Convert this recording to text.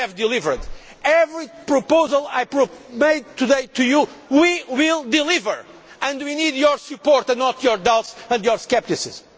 we have delivered. Every proposal I made today to you, we will deliver and we need your support and not your doubts and your scepticism.